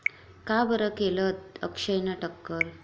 का बरं केलं अक्षयने टक्कल?